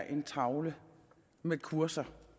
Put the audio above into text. en tavle med kurser